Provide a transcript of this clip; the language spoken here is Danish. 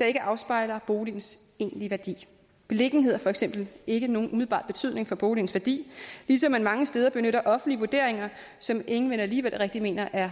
der ikke afspejler boligens egentlige værdi beliggenhed har for eksempel ikke nogen umiddelbar betydning for boligens værdi ligesom man mange steder benytter offentlige vurderinger som ingen vel alligevel rigtig mener er